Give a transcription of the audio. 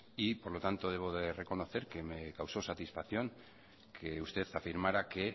y por lo tanto debo de reconocer que me causó satisfacción que usted afirmara que